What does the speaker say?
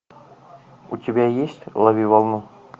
у тебя есть лови волну